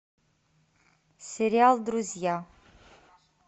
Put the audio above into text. сериал друзья